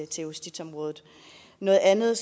justitsområdet noget andet